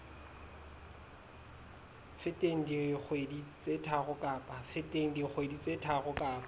feteng dikgwedi tse tharo kapa